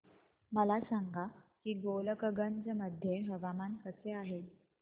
मला सांगा की गोलकगंज मध्ये हवामान कसे आहे